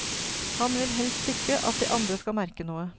Han vil helst ikke at de andre skal merke noe.